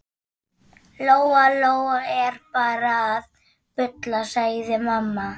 Lóa Lóa er bara að bulla, sagði mamma.